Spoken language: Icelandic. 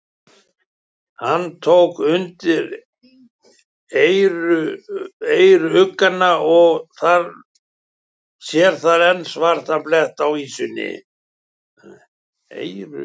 Hann tók undir eyruggana og sér þar enn svarta bletti á ýsunni.